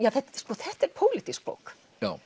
þetta er pólítísk bók